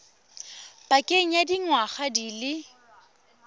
pakeng ya dingwaga di le